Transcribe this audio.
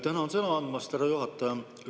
Tänan sõna andmast, härra juhataja!